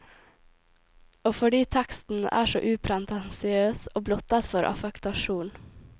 Og fordi teksten er så upretensiøs og blottet for affektasjon.